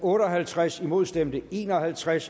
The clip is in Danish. otte og halvtreds imod stemte en og halvtreds